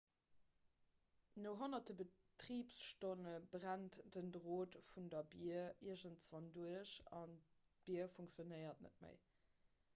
no honnerte betribsstonne brennt den drot vun der bier iergendwann duerch an d'bier funktionéiert net méi